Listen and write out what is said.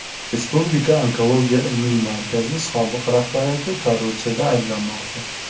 Respublika onkologiya ilmiy markazi sobiq rahbariyati korrupsiyada ayblanmoqda.